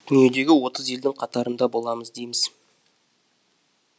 дүниедегі отыз елдің қатарында боламыз дейміз